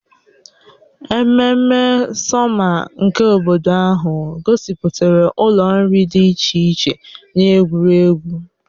Ememme sọma nke obodo ahụ gosipụtara ụlọ nri dị iche iche na egwuregwu.